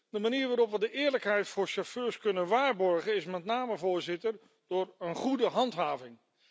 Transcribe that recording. De manier waarop we de eerlijkheid voor chauffeurs kunnen waarborgen, is met name door een goede handhaving.